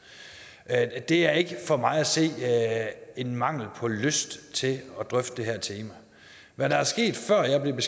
at jeg er det er ikke for mig at se en mangel på lyst til at drøfte det her tema hvad der er sket før jeg